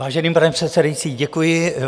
Vážený pane předsedající, děkuji.